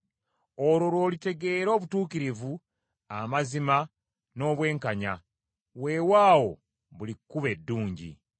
Olwo lw’olitegeera obutuukirivu, amazima n’obwenkanya; weewaawo buli kkubo eddungi.